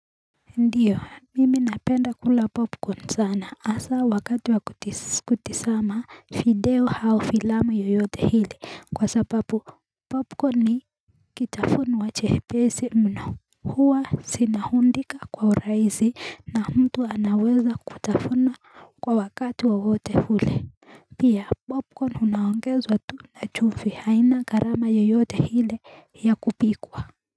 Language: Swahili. Ndiyo mimi napenda kula popcorn sana hasa wakati wa kutizama video au filamu yoyote ile kwa sababu popcorn ni kitafunwa chepesi mno huwa zinaundika kwa urahisi na mtu anaweza kutafuna kwa wakati wa wote ule pia popcorn unaongeza tu kwa chumvi haina gharama yoyote ile ya kupikwa.